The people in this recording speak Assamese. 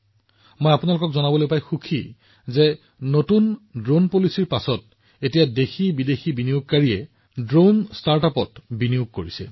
মই আপোনালোকক কবলৈ পাই আনন্দিত যে নতুন ড্ৰোন নীতিৰ পিছত বৈদেশিক আৰু ঘৰুৱা বিনিয়োগকাৰীসকলে বহুতো ড্ৰোন ষ্টাৰ্টআপত বিনিয়োগ কৰিছে